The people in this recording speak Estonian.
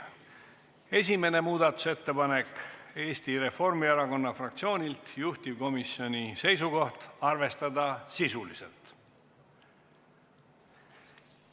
Esimene muudatusettepanek on Eesti Reformierakonna fraktsioonilt, juhtivkomisjoni seisukoht: arvestada sisuliselt.